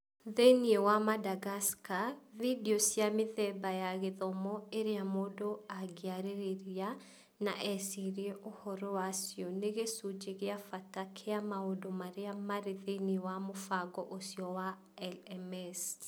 Thĩinĩ wa Madagascar, video cia mĩthemba ya gĩthomo iria mũndũ angĩarĩrĩria na ecirie ũhoro wacio nĩ gĩcunjĩ kĩa bata kĩa maũndũ marĩa marĩ thĩinĩ wa mũbango ũcio wa LMS.